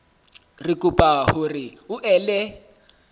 re kopa hore o ele